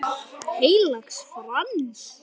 Heilags Frans.